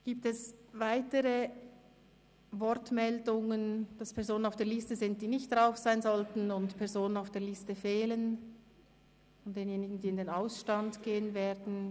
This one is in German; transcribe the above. Gibt es weitere Wortmeldungen, wonach Personen auf der Liste sind, die nicht auf dieser stehen sollten oder Personen auf der Liste fehlen von denjenigen, die in den Ausstand gehen werden?